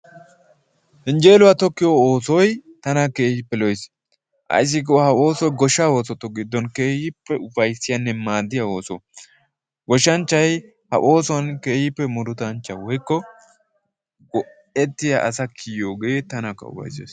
Yenjjeeluwa tokkiyo oosoy tana keehippe lo'ees. Ayssi giikko ha oosoy goshshaa oosotu giddoppe keehippe ufayssiyanne maaddiya ooso. Goshshanchchay ha oosuwan keehippe murutanchcha/go'etti asa kiyiyogee tanakka ufayssees.